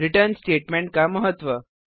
return statement का महत्व